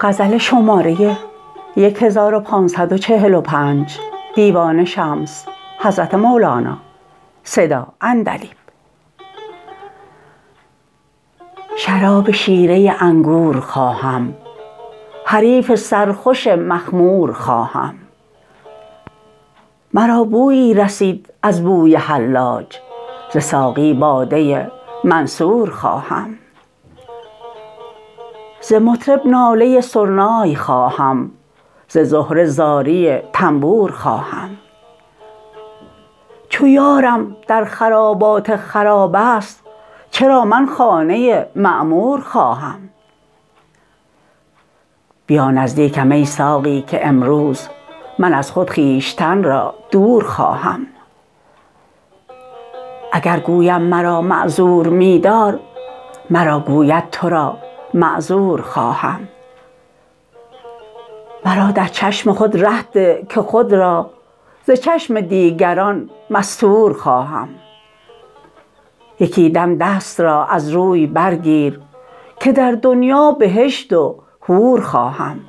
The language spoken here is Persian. شراب شیره انگور خواهم حریف سرخوش مخمور خواهم مرا بویی رسید از بوی حلاج ز ساقی باده منصور خواهم ز مطرب ناله سرنای خواهم ز زهره زاری تنبور خواهم چو یارم در خرابات خراب است چرا من خانه معمور خواهم بیا نزدیکم ای ساقی که امروز من از خود خویشتن را دور خواهم اگر گویم مرا معذور می دار مرا گوید تو را معذور خواهم مرا در چشم خود ره ده که خود را ز چشم دیگران مستور خواهم یکی دم دست را از روی برگیر که در دنیا بهشت و حور خواهم